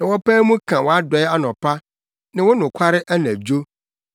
na wɔpae mu ka wʼadɔe anɔpa ne wo nokware anadwo,